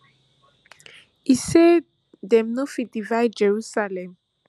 e say dem no fit divide jerusalem